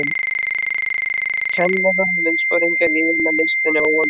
Kennarar, liðsforingjar, yfirmenn- listinn er óendanlegur.